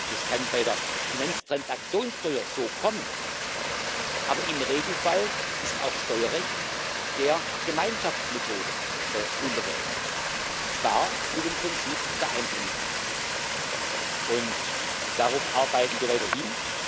Es kann bei der Finanztransaktionssteuer so kommen, aber im Regelfall ist auch Steuerrecht der Gemeinschaftsmethode unterworfen, und zwar mit dem Prinzip der Einstimmigkeit. Und darauf arbeiten wir weiter hin.